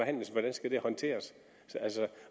skal håndteres